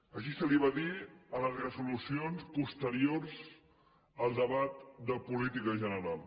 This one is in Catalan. així se li va dir en les resolucions posteriors al debat de política general